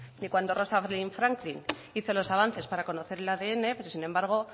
que cuando rosa green franklyn hizo los avances para conocer el adn pero sin embargo